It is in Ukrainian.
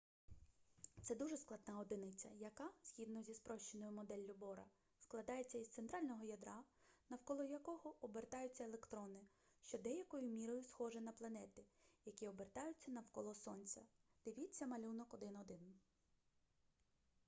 це дуже складна одиниця яка згідно зі спрощеною моделлю бора складається із центрального ядра навколо якого обертаються електрони що деякою мірою схоже на планети які обертаються навколо сонця дивіться малюнок 1.1